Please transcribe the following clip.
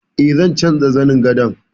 E, zan canja zanin gadon.